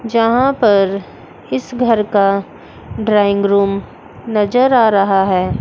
जहां पर इस घर का ड्राइंग रूम नजर आ रहा है।